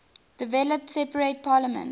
developed separate parliaments